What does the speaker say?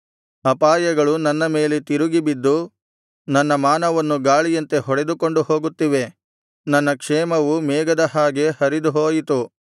ಅಪಾಯಗಳು ನನ್ನ ಮೇಲೆ ತಿರುಗಿಬಿದ್ದು ನನ್ನ ಮಾನವನ್ನು ಗಾಳಿಯಂತೆ ಹೊಡೆದುಕೊಂಡು ಹೋಗುತ್ತಿವೆ ನನ್ನ ಕ್ಷೇಮವು ಮೇಘದ ಹಾಗೆ ಹರಿದು ಹೋಯಿತು